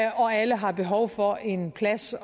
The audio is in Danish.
og alle har behov for en plads